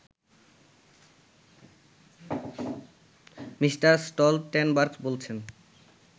Me. Stoltenberg বলছেন